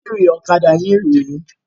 Bátìrì ọ̀kadà yín rè é.